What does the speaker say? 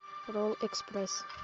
ролл экспресс